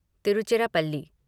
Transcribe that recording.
Tiruchirappalli